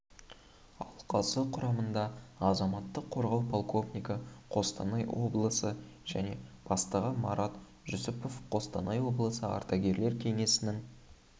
алқасы құрамында азаматтық қорғау полковнигі қостанай облысы және бастығы марат жусупов қостанай облысы ардагерлер кеңесінің